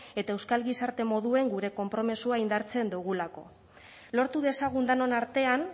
eta euskal gizarte moduan gure konpromisoa indartzen dugulako lortu dezagun denon artean